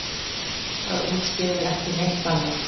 Það útskýrir ekki neitt annað.